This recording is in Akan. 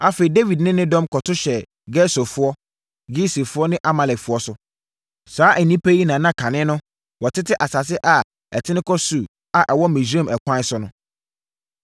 Afei, Dawid ne ne dɔm kɔto hyɛɛ Gesurfoɔ, Girsifoɔ ne Amalekfoɔ so. Saa nnipa yi na na kane no, wɔtete asase a ɛtene kɔ Sur a ɛwɔ Misraim ɛkwan so no.